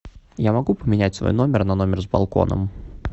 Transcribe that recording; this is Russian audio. я могу поменять свой номер на номер с балконом